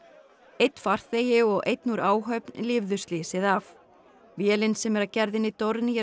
einn farþegi og einn úr áhöfn lifðu slysið af vélin sem er af gerðinni